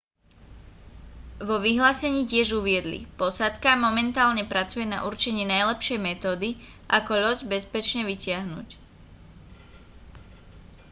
vo vyhlásení tiež uviedli posádka momentálne pracuje na určení najlepšej metódy ako loď bezpečne vytiahnuť